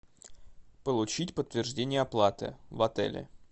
получить подтверждение оплаты в отеле